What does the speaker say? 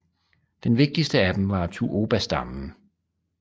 Den vigtigste af dem var tuobastammen